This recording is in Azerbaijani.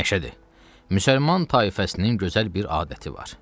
Məşədi, müsəlman tayfasının gözəl bir adəti var.